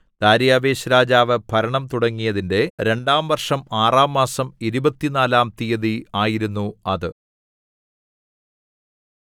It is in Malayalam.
ദാര്യാവേശ്‌ രാജാവ് ഭരണം തുടങ്ങിയതിന്റെ രണ്ടാം വർഷം ആറാം മാസം ഇരുപത്തിനാലാം തീയതി ആയിരുന്നു അത്